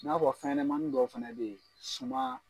N'a fɔ fɛnɲɛnamanin dɔ fana bɛ yen suma